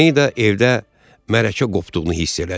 Mayda evdə mərəkə qopduğunu hiss elədi.